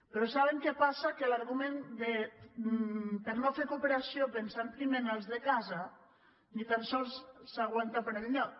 però saben què passa que l’argument de no fer cooperació pensant primer en els de casa ni tan sols s’aguanta per enlloc